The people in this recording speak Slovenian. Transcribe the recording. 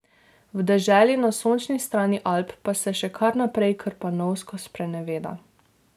V deželi na sončni strani Alp pa se še kar naprej krpanovsko spreneveda.